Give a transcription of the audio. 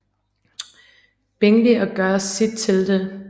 Bingley og gør sit til det